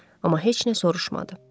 Amma heç nə soruşmadı.